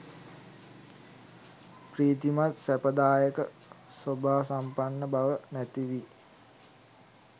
ප්‍රීතිමත් සැපදායක සෝභාසම්පන්න බව නැති වී